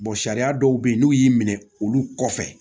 sariya dɔw be yen n'u y'i minɛ olu kɔfɛ